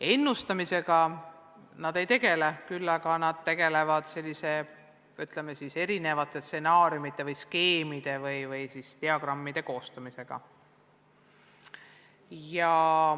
Ennustamisega nad ei tegele, küll aga tegelevad nad erinevate stsenaariumite, skeemide ja diagrammide koostamisega.